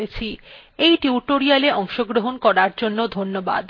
এই টিউটোরিয়ালএ অংশগ্রহন করার জন্য ধন্যবাদ